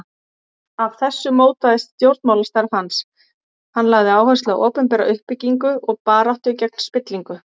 Af þessu mótaðist stjórnmálastarf hans, hann lagði áherslu á opinbera uppbyggingu og baráttu gegn spillingu.